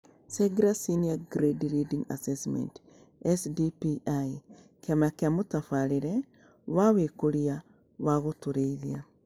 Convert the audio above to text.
SeGRA Senior Grade Reading Assessment SDPI Kĩama kĩa Mũtabarĩre wa Wĩkũria wa Gũtũũrithia